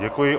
Děkuji.